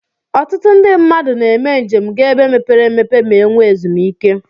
Ọtụtụ ndi mmadu na eme njem ga ebe mepere emepe ma enwe ezum ike.